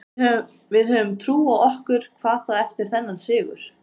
Við höfum trú á okkur, hvað þá eftir þennan sigur.